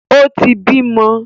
O ti bímọ.